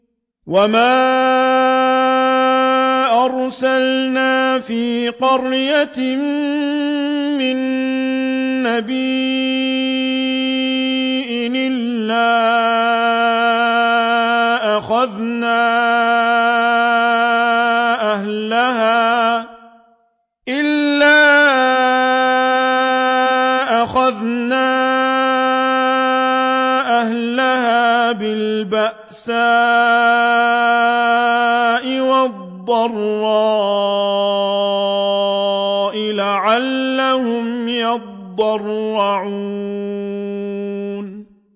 وَمَا أَرْسَلْنَا فِي قَرْيَةٍ مِّن نَّبِيٍّ إِلَّا أَخَذْنَا أَهْلَهَا بِالْبَأْسَاءِ وَالضَّرَّاءِ لَعَلَّهُمْ يَضَّرَّعُونَ